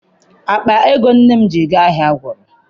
Akpa ego nne m ji gaa ahịa gwụrụ.